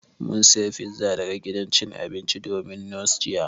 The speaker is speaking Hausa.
Mun saya pizza daga gidan cin abincin Dominos jiya